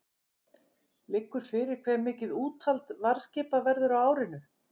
Liggur fyrir hve mikið úthald varðskipa verður á árinu?